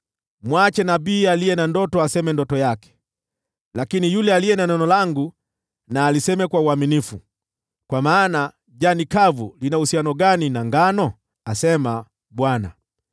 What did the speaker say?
Mwache nabii aliye na ndoto aseme ndoto yake, lakini yule aliye na neno langu na aliseme kwa uaminifu. Kwa maana jani kavu lina uhusiano gani na ngano?” asema Bwana .